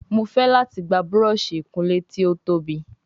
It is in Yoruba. Mọ fè láti gbà Búrọ̀ọ̀ṣì ìkunlé tí o tóbi